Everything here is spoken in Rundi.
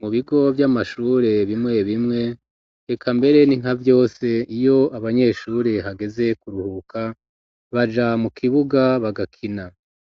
Mu bigo vy'amashure bimwe bimwe heka mbere ni nka vyose iyo abanyeshuri hageze kuruhuka baja mu kibuga bagakina